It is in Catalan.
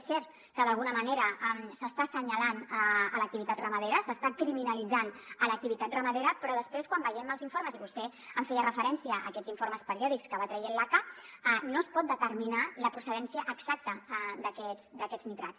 és cert que d’alguna manera s’està assenyalant l’activitat ramadera s’està criminalitzant l’activitat ramadera però després quan veiem els informes i vostè feia referència a aquests informes periòdics que va traient l’aca no es pot determinar la procedència exacta d’aquests nitrats